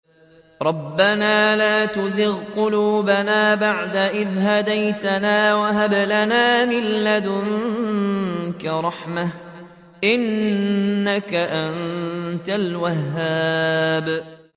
رَبَّنَا لَا تُزِغْ قُلُوبَنَا بَعْدَ إِذْ هَدَيْتَنَا وَهَبْ لَنَا مِن لَّدُنكَ رَحْمَةً ۚ إِنَّكَ أَنتَ الْوَهَّابُ